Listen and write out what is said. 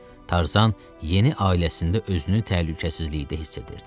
Tarzan yeni ailəsində özünü təhlükəsizlikdə hiss edirdi.